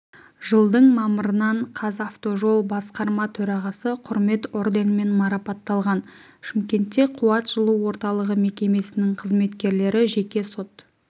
жылдың мамырынан қазавтожол басқарма төрағасы құрмет орденімен марапатталған шымкентте қуат жылу орталығы мекемесінің қызметкерлері жеке сот